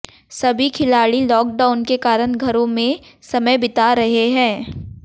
सभी खिलाड़ी लाॅकडाउन के कारण घरों में समय बीता रहे हैं